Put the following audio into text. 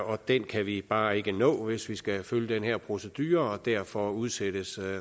og det kan vi bare ikke nå hvis vi skal følge den her procedure derfor udsættes